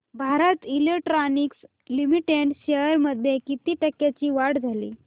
Bharat electronics limited shares मध्ये किती टक्क्यांची वाढ झाली